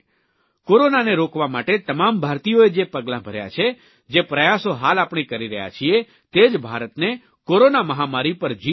કોરોનાને રોકવા માટે તમામ ભારતીયોએ જે પગલાં ભર્યા છે જે પ્રયાસો હાલ આપણે કરી રહ્યા છીએ તે જ ભારતને કોરોના મહામારી પર જીત અપાવશે